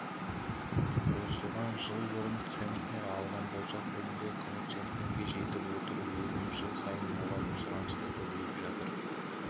осыдан жыл бұрын центнер алған болсақ бүгінгі күні центнерге жетіп отыр өнім жыл сайын молайып сұраныс та көбейіп жатыр